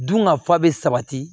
Dunkafa bɛ sabati